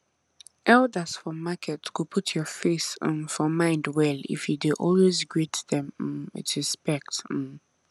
elders for market go put your face um for mind well if you dey always greet them um with respect um